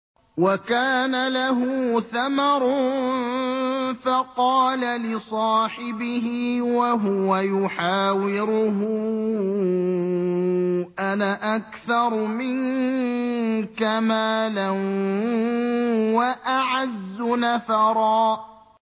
وَكَانَ لَهُ ثَمَرٌ فَقَالَ لِصَاحِبِهِ وَهُوَ يُحَاوِرُهُ أَنَا أَكْثَرُ مِنكَ مَالًا وَأَعَزُّ نَفَرًا